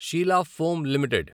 Sheela foam limited